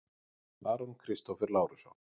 Aron Kristófer Lárusson